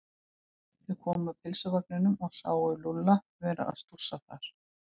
Þau komu að pylsuvagninum og sáu Lúlla vera að stússa þar.